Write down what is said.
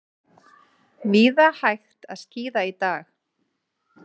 Víða hægt að skíða í dag